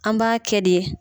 An b'a kɛ de